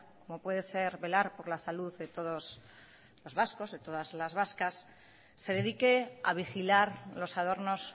como puede ser velar por la salud de todos los vascos de todas las vascas se dedique a vigilar los adornos